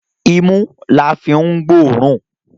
Imú la fi ń gbóòórùn.